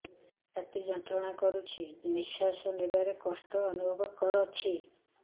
ଛାତି ଯନ୍ତ୍ରଣା କରୁଛି ନିଶ୍ୱାସ ନେବାରେ କଷ୍ଟ ଅନୁଭବ କରୁଛି